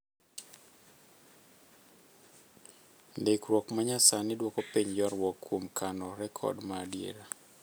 Ndikruok ma nyasani dwoko piny ywarruok kuom kano rekod ma adiera.